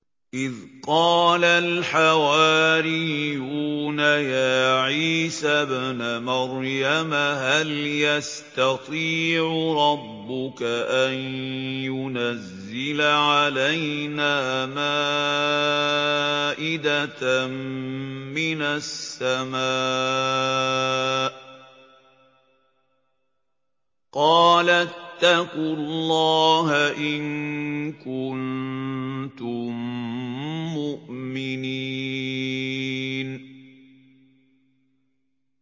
إِذْ قَالَ الْحَوَارِيُّونَ يَا عِيسَى ابْنَ مَرْيَمَ هَلْ يَسْتَطِيعُ رَبُّكَ أَن يُنَزِّلَ عَلَيْنَا مَائِدَةً مِّنَ السَّمَاءِ ۖ قَالَ اتَّقُوا اللَّهَ إِن كُنتُم مُّؤْمِنِينَ